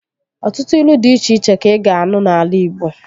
Ọtụtụ ilu dị iche iche ka ị ga-anụ n'ala igbo